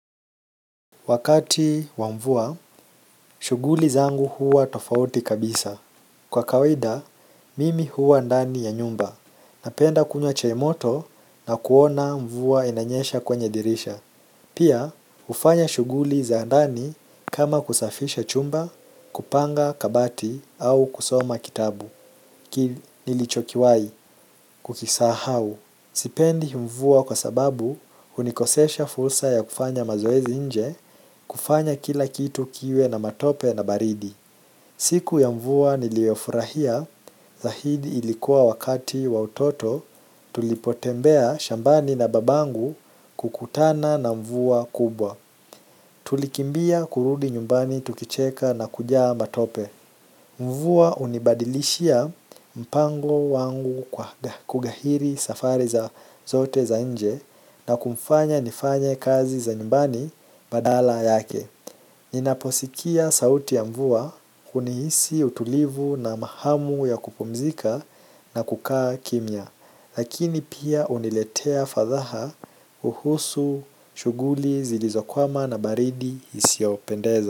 Wakati wa mvua, shughuli zangu huwa tofauti kabisa kwa kawaida, mimi huwa ndani ya nyumba. Napenda kunywa moto na kuona mvua inanyesha kwenye dirisha pia, hufanya shughuli za ndani kama kusafisha chumba, kupanga kabati au kusoma kitabu. Ki nilichokiwahi kukisahau. Sipendi mvua kwa sababu hunikosesha fursa ya kufanya mazoezi nje, kufanya kila kitu kiwe na matope na baridi siku ya mvua niliyofurahia zaidi ilikuwa wakati wa utoto. Tulipotembea shambani na babangu kukutana na mvua kubwa. Tulikimbia kurudi nyumbani tukicheka na kujaa matope mvua hunibadilishia mpango wangu kwa kughairi safari zote za nje na kumfanya nifanye kazi za nyumbani badala yake. Ninaposikia sauti ya mvua kunihisi utulivu na mahamu ya kupumzika na kukaa kimya lakini pia huniletea fadhaha huhusu, shughuli, zilizokwama na baridi isiyopendeza.